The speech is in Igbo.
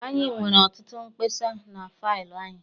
Anyị nwere ọtụtụ mkpesa na faịlụ anyị